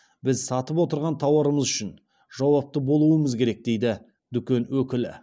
біз сатып отырған тауарымыз үшін жауапты болуымыз керек дейді дүкен өкілі